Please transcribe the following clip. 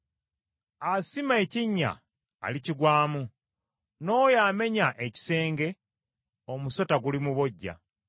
Asima ekinnya alikigwamu, n’oyo amenya ekisenge omusota gulimubojja.